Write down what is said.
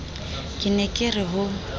ke ne ke re ho